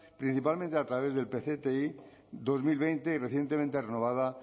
principalmente a través del pcti dos mil veinte y recientemente renovada